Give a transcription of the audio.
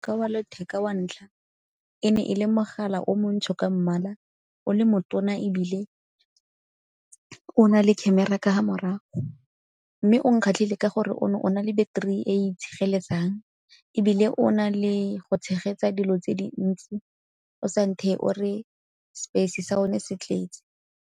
Ka wa letheka wa ntlha, e ne e le mogala o montsho ka mmala, o le mo tona ebile o na le khemera ka fa morago. Mme o nkgatlhile ka gore o ne o na le battery e e itshireletsang ebile o na le go tshegetsa dilo tse dintsi o sa ntheye o re space sa yone se tletsi.